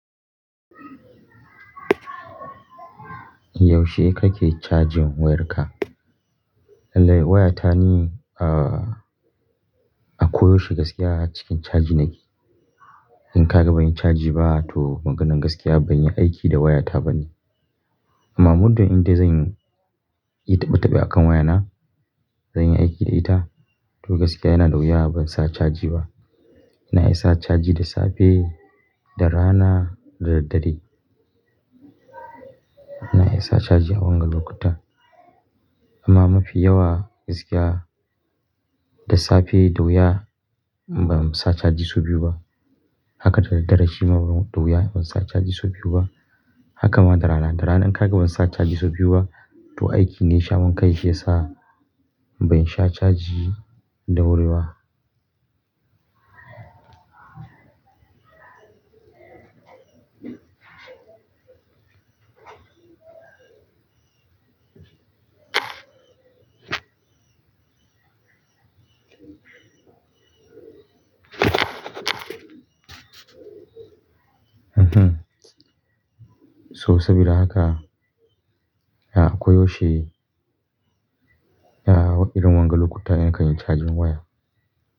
Yaushe kake cajin wayarka? Lallai wayata ne a, a koyaushe gaskiya cikin caji na ke. In ka ga ban yi caji ba, to maganan gaskiya ban yi aiki da wayata bane. Amma muddin in dai zan yi taɓe-taɓe akan wayana, zan yi aiki da ita. To gaskiya yana da wuya ban sa caji ba. Na isa caji da safe, da rana da daddare. Na iya sa caji a wanga lokutan. Amma mafi yawa gaskiya, da safe da wuya ban sa caji sau biyu ba. Haka da daddare shi ma da wuya ban sa caji sau biyu ba. Haka ma da rana, da rana in ka ga ban sa caji sau biyu ba, to aiki ne sha man kai shi ya sa ban sha caji da wuri ba. So sabida haka, a koyaushe ya da irin wanga lokutan ni kan yi cajin waya.